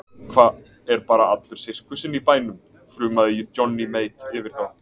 Hva, er bara allur sirkusinn í bænum, þrumaði Johnny Mate yfir þá.